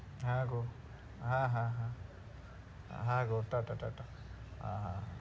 হ্যাঁ গো। হ্যাঁ হ্যাঁ হ্যাঁ হ্যাঁ গো টা টা হ্যাঁ হ্যাঁ।